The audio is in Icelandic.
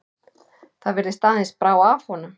Það virðist aðeins brá af honum.